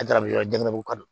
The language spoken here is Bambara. yɔrɔ ka don